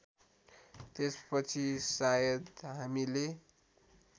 त्यसपछि सायद हामीले